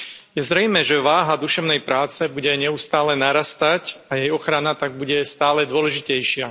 Je zrejmé, že váha duševnej práce bude neustále narastať a jej ochrana tak bude stále dôležitejšia.